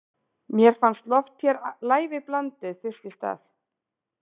Mér fannst loft hér lævi blandið fyrst í stað.